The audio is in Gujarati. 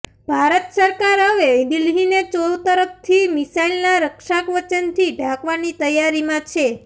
ભારત સરકાર હવે દિલ્હીને ચોતરફથી મિસાઈલના રક્ષાકવચથી ઢાંકવાની તૈયારીમાં છે